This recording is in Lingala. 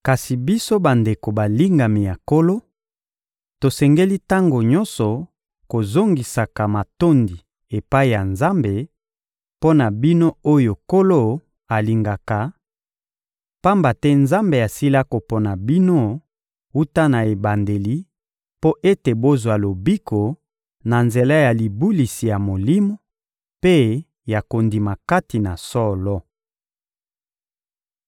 Kasi biso bandeko balingami ya Nkolo, tosengeli tango nyonso kozongisaka matondi epai ya Nzambe mpo na bino oyo Nkolo alingaka, pamba te Nzambe asila kopona bino wuta na ebandeli mpo ete bozwa lobiko, na nzela ya libulisi ya Molimo mpe ya kondima kati na solo.